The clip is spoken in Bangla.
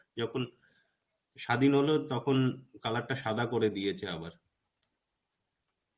যখন স্বাধীন হলো তখন color টা সাদা করে দিয়েছে আবার.